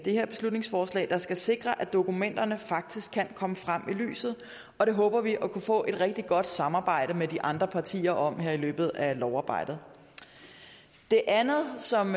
her beslutningsforslag der skal sikre at dokumenterne faktisk kan komme frem i lyset og det håber vi at kunne få et rigtig godt samarbejde med de andre partier om her i løbet af lovarbejdet det andet som